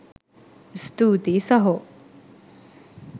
ස්තූතියි සහෝ